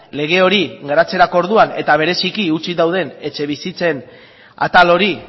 lege hori garatzerako orduan eta bereziki utzik dauden etxebizitzen atal hori